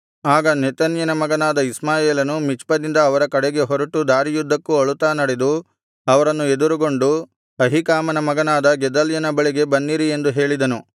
ಆಗ ನೆತನ್ಯನ ಮಗನಾದ ಇಷ್ಮಾಯೇಲನು ಮಿಚ್ಪದಿಂದ ಅವರ ಕಡೆಗೆ ಹೊರಟು ದಾರಿಯುದ್ದಕ್ಕೂ ಅಳುತ್ತಾ ನಡೆದು ಅವರನ್ನು ಎದರುಗೊಂಡು ಅಹೀಕಾಮನ ಮಗನಾದ ಗೆದಲ್ಯನ ಬಳಿಗೆ ಬನ್ನಿರಿ ಎಂದು ಹೇಳಿದನು